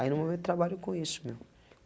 Aí no momento trabalho com isso, meu.